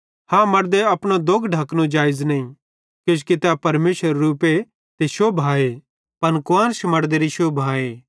हाँ मड़दे अपनो दोग ढकनो जेइज़ नईं किजोकि तै परमेशरेरू रूप ते शोभाए पन कुआन्श मड़देरी शोभाए